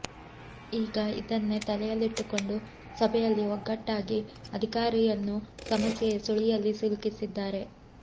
ಈಗ ಇದನ್ನೇ ತಲೆಯಲ್ಲಿಟ್ಟುಕೊಂಡು ಸಭೆಯಲ್ಲಿ ಒಗ್ಗಟ್ಟಾಗಿ ಅಧಿಕಾರಿಯನ್ನು ಸಮಸ್ಯೆಯ ಸುಳಿಯಲ್ಲಿ ಸಿಲುಕಿಸಿದ್ದಾರೆ